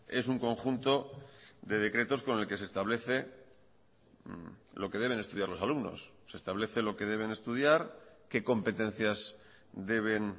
es un conjunto de decretos con el que se establece lo que deben estudiar los alumnos se establece lo que deben estudiar qué competencias deben